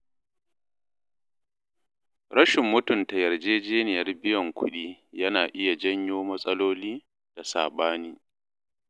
Rashin mutunta yarjejeniyar biyan kuɗi yana iya janyo matsaloli da saɓani.